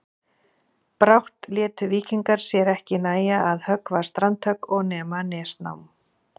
Brátt létu víkingar sér ekki nægja að höggva strandhögg og nema nesnám.